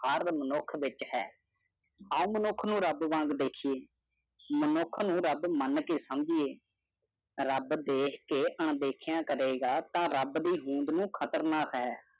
ਹਰ ਮਨੁੱਖ ਵਿੱਚ ਹੈ। ਹਰ ਮਨੁੱਖ ਨੂੰ ਰੱਬ ਵਾਂਗ ਦੇਖੀਏ। ਮਨੁੱਖ ਨੂੰ ਰੱਬ ਮੰਨ ਕੇ ਸਮਝੀਏ। ਰੱਬ ਦੇਖ ਕੇ ਅਣਦੇਖਿਆਂ ਕਰੇਗਾ ਤਾਂ ਰੱਬ ਦੀ ਹੋਂਦ ਨੂੰ ਖਤਰਨਾ ਹੈ।